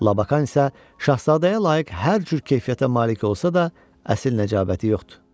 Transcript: Lakan isə şahzadəyə layiq hər cür keyfiyyətə malik olsa da, əsl nəcabəti yoxdur.